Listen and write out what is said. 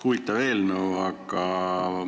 Huvitav eelnõu.